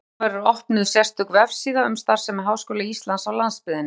Á næstu dögum verður opnuð sérstök vefsíða um starfsemi Háskóla Íslands á landsbyggðinni.